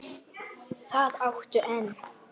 Það áttu enn.